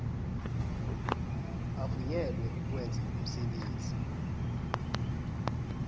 avunyelwe ukwenza umsebenzi